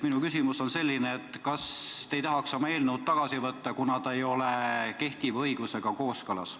Minu küsimus on selline, et kas te ei tahaks oma eelnõu tagasi võtta, kuna see ei ole kehtiva õigusega kooskõlas.